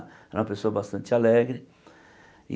Era uma pessoa bastante alegre. E